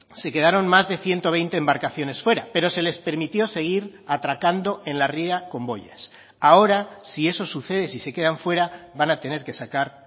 se quedaron más de ciento veinte embarcaciones fuera pero se les permitió seguir atracando en la ría con boyas ahora si eso sucede si se quedan fuera van a tener que sacar